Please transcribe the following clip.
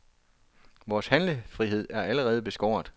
Vores handlefrihed er allerede beskåret.